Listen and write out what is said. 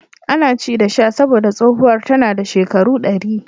Ana ci ana sha domin tsohuwar ta rasu tana da shekaru ɗari.